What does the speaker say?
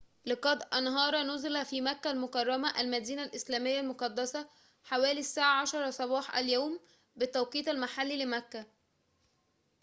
لقد انهار نُزلٌ في مكة المكرّمة المدينة الإسلامية المقدّسة حوالي الساعة 10 صباح اليوم بالتوقيت المحلي لمكة